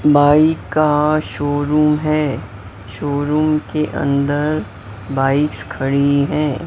Bike का showroom है showroom के अंदर बाइक्स खड़ी है।